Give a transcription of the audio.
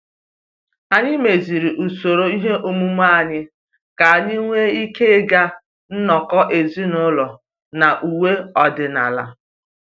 Anyị meziri usoro ihe omume anyị ka anyị nwee ike ịga nnọkọ ezinụlọ na uwe ọdịnala